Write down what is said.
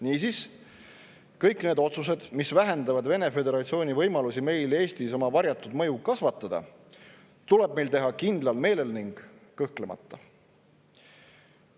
Niisiis, kõik need otsused, mis vähendavad Venemaa Föderatsiooni võimalusi meil Eestis oma varjatud mõju kasvatada, tuleb meil teha kindlal meelel ning kõhklemata.